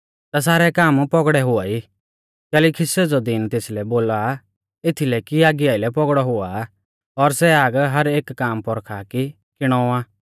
ता सारै काम पौगड़ौ हुआई कैलैकि सेज़ौ दिन तेसलै बोला एथीलै कि आगी आइलै पौगड़ौ हुआ और सै आग हर एक काम परखा कि किणौ आ